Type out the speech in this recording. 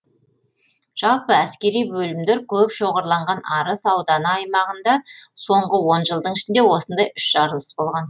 жалпы әскери бөлімдер көп шоғырланған арыс ауданы аймағында соңғы он жылдың ішінде осындай үш жарылыс болған